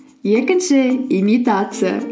екінші имитация